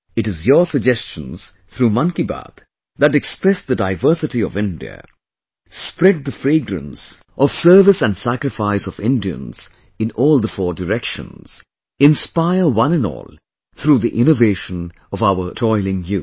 It is your suggestions, through 'Mann Ki Baat', that express the diversity of India, spread the fragrance of service and sacrifice of Indians in all the four directions, inspire one and all through the innovation of our toiling youth